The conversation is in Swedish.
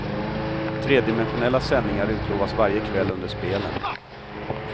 Tredimensionella sändningar utlovas varje kväll under spelen.